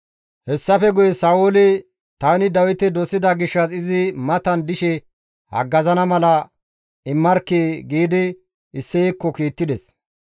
Hessafe guye Sa7ooli, «Tani Dawite dosida gishshas izi matan dishe haggazana mala taas immarkkii!» giidi Isseyekko kiittides.